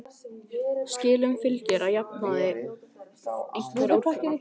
Skilum fylgir að jafnaði einhver úrkoma.